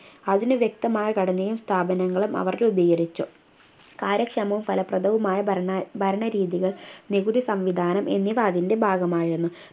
അതിനു വ്യക്തമായ ഘടനയും സ്ഥാപനങ്ങളും അവർ രൂപികരിച്ചു കാര്യക്ഷമവും ഫലപ്രദവുമായ ഭരണ ഭരണരീതികൾ നികുതി സംവിധാനം എന്നിവ അതിൻ്റെ ഭാഗമായിരുന്നു